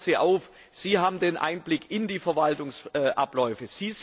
Wir fordern Sie auf Sie haben den Einblick in die Verwaltungsabläufe.